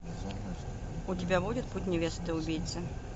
у тебя будет путь невесты убийцы